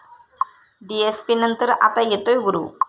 डीएसपी'नंतर आता येतोय 'गुरू'